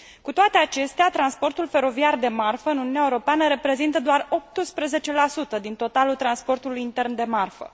Cu toate acestea, transportul feroviar de marfă în Uniunea Europeană reprezintă doar 18 din totalul transportului intern de marfă.